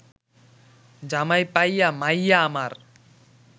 জামাই পাইয়া মাইয়া আমার